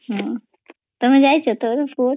ତୁମେ ଯାଇଛ ତ